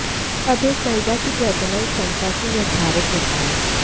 अब यह एक महिला की प्रजनन क्षमता से निर्धारित होता है